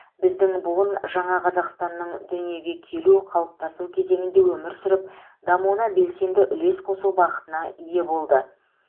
біздің буын жаңа қазақстанның дүниеге келу қалыптасу кезеңінде өмір сүріп дамуына белсенді үлес қосу бақытына ие болды